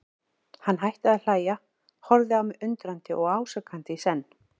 Hann hætti að hlæja, horfði á mig undrandi og ásakandi í senn.